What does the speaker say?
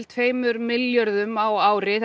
tveimur milljörðum á ári